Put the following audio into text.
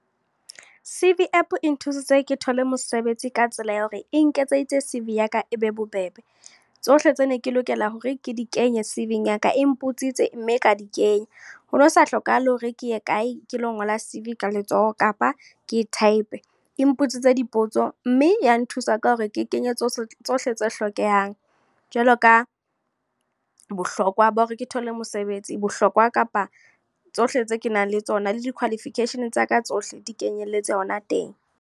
C_V app e nthusitse ke thole mosebetsi ka tsela ya hore, e nketseditse C_V ya ka e be bobebe. Tsohle tse ne ke lokela hore ke di kenye C_V-ing ya ka e mpotsitse mme ka di kenya. Ho no sa hlokahale hore ke ye kae, ke lo ngola C_V ka letsoho, kapa ke e type. E mpotsitse dipotso, mme ya nthusa ka hore ke kenye tsohle tse hlokehang. Jwalo ka bohlokwa ba hore ke thole mosebetsi, bohlokwa kapa tsohle tse ke nang le tsona le di-qualification tsa ka tsohle, di kenyelletse hona teng.